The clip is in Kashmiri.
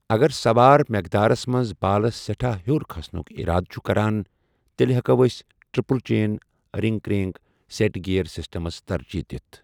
اگر سَوار میٚقدارس منٛز بالَس سیٚٹھا ہیور کھسنُک اِرادٕ چُھ کَران، تیٚلہِ ہیٚکو أکِس triple chainring crankset gear systems ترجیٖح دِتھ ۔